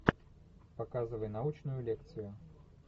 показывай научную лекцию